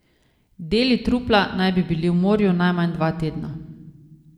Deli trupla naj bi bili v morju najmanj dva tedna.